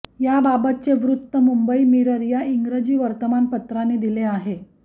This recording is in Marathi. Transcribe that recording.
याबाबतचे वृत्त मुंबई मिरर या इंग्रजी वर्तमानपत्राने दिले आहे